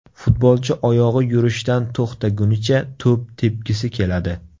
Futbolchi oyog‘i yurishdan to‘xtagunicha to‘p tepgisi keladi.